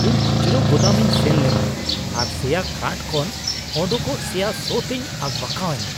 ᱤᱧ ᱠᱷᱩᱪᱨᱟᱹ ᱜᱳᱫᱟᱢ ᱤᱧ ᱥᱮᱱ ᱞᱮᱱᱟ ᱟᱨ ᱥᱮᱭᱟ ᱠᱟᱴᱷ ᱠᱷᱚᱱ ᱚᱰᱚᱠᱚᱜ ᱥᱮᱭᱟ ᱥᱚ ᱛᱤᱧ ᱟᱠᱵᱟᱠᱟᱣ ᱮᱱᱟ ᱾